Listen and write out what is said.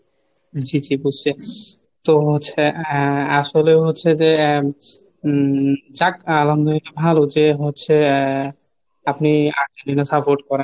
জি জি বুঝছে তো হচ্ছে আহ আসলে হচ্ছে যে আহ উম যাক ভালো যে হচ্ছে আহ আপনি আর্জেন্টিনা support করেন।